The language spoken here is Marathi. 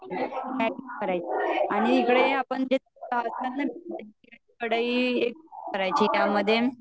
आणि इकडे करायची त्या मध्ये